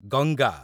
Ganga